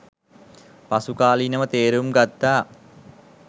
පසුකාලීනව තේරුම් ගත්තා